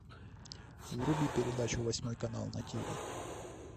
вруби передачу восьмой канал на тиви